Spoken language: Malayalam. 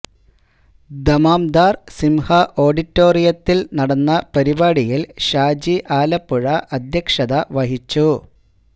ദമ്മാം ദാര് സിഹ ഓഡി റ്റോ റിയത്തില് നടന്ന പരിപാടിയില് ഷാജി ആലപ്പുഴ അധ്യക്ഷത വഹിച്ചു